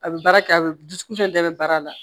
A bɛ baara kɛ a bɛ dusukun fɛn bɛɛ bɛ baara la